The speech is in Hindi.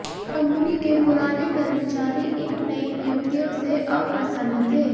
कंपनी के पुराने कर्मचारी इन नयी नियुक्तियों से अप्रसन्न थे